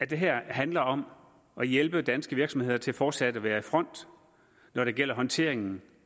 det her handler om at hjælpe danske virksomheder til fortsat at være i front når det gælder håndteringen